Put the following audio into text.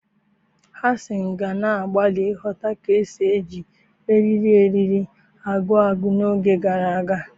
Hasan ka na-agbalị ịghọta ka esi eji eriri eriri agụ agụ n'oge gara aga.